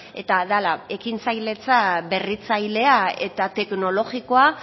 eta dala ekintzailetza berritzailea eta teknologikoa